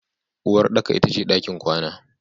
Uwarɗaka ita ce ɗakin kwana.